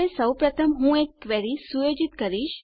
સૌપ્રથમ હું એક ક્વેરી સુયોજિત કરીશ